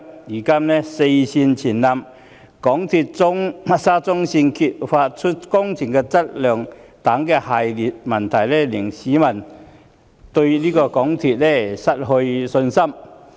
如今"四線全倒"及沙中線被揭發工程質素差勁等一系列問題，更令市民對港鐵公司失去信心。